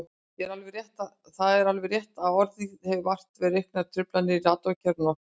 Það er alveg rétt að orðið hefur vart við auknar truflanir í radíókerfunum okkar.